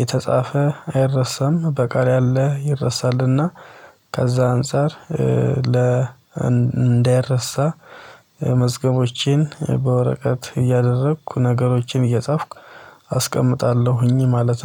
የተጻፈ አይረሳም በቃል ያለ ይረሳልና። ከዛ አንፃር ለ እንዳይረሳ። መዝገቦቼን በወረቀት እያደረኩ ነገሮችን እየጻፍኩ አስቀምጣለሁኝ ማለት